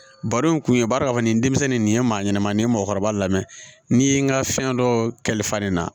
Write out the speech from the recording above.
Baro in kun ye bari k'a fɔ nin denmisɛnnin nin ye maa ɲanama nin ye mɔgɔkɔrɔba lamɛn n'i ye n ka fɛn dɔ kɛlifa nin na